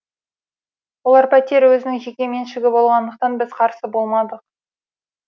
ол пәтер өзінің жеке меншігі болғандықтан біз қарсы болмадық